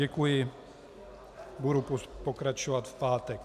Děkuji, budu pokračovat v pátek.